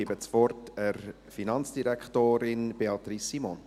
Ich gebe das Wort der Finanzdirektorin Beatrice Simon.